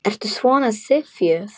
Ertu svona syfjuð?